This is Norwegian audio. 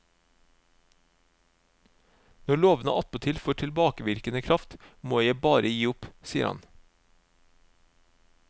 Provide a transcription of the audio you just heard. Når lovene attpåtil får tilbakevirkende kraft, må jeg bare gi opp, sier han.